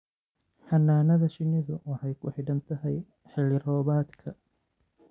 Xannaanada shinnidu waxay ku xidhan tahay xilli roobaadka.